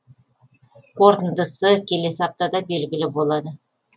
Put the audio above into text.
қорытындысы келесі аптада белгілі болады